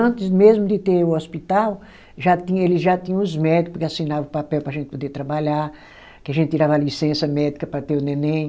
Antes mesmo de ter o hospital, já tinha eles já tinha os médico que assinava o papel para a gente poder trabalhar, que a gente tirava licença médica para ter o neném.